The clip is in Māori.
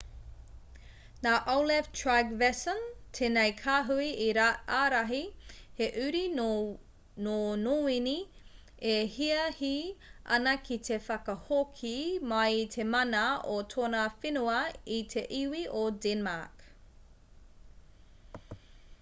nā olaf trygvasson tēnei kāhui i ārahi he uri nō nōwini e hiahi ana ki te whakahoki mai i te mana o tōna whenua i te iwi o denmark